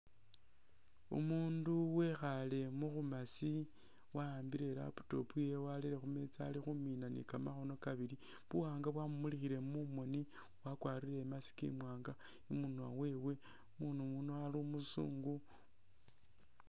Umundu wekhaale mubumaasi, wa'ambile i'laptop yewe warere khumeeza ali khumiina ne kamakhono kabili , buwanga bwamumulikhile mumoni wakwarire i'mask imwanga imunwa wewe, umundu uyuno ali umuzungu.